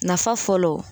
Nafa fɔlɔ